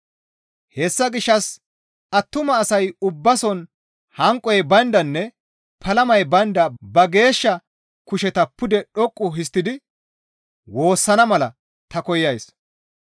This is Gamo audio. Hessa gishshas attuma asay ubbason hanqoy bayndanne palamay baynda ba geeshsha kusheta pude dhoqqu histtidi woossana mala ta koyays.